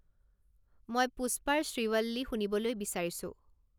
মই পুষ্পাৰ শ্ৰীৱল্লী শুনিবলৈ বিচাৰিছোঁ